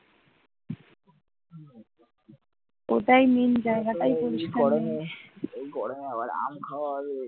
এই গরমে আবার আম খাওয়া হবে,